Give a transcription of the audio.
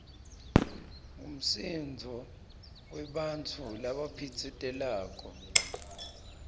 ngumsindvo webantfu labaphitsitelako